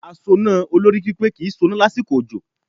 Asoná olórí pípé kì í soná lásìkò òjò